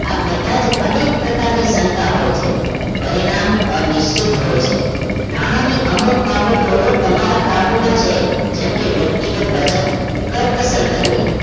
આ બધા જ અનેક પ્રકારની શંકા હોય છે પરિણામ અનિશ્ચિત હોય છે નાણાંની અમુક બાબતો તમારા કાબુમાં છે જેમ કે વ્યક્તિગત બચત કરકસર કરવી